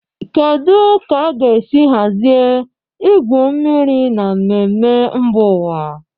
Kedu ka a ga-esi hazie igwu mmiri na mmemme mba ụwa?